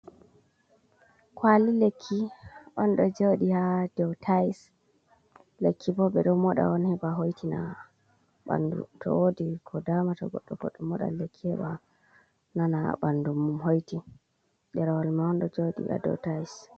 Kwali lekki on ɗo joɗi haa dow tais. Lekki bo ɓe ɗo moɗa on heɓa hoitina bandu, to wodi ko damata goɗɗo, goɗɗo moɗan lekki heɓa nana bandu mum hoiti. Ɗerewol man on ɗo jouɗi haa dow tais.